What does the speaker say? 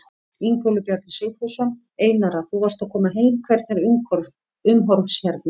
Ingólfur Bjarni Sigfússon: Einara þú varst að koma heim, hvernig er umhorfs hérna?